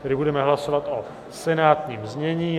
Tedy budeme hlasovat o senátním znění.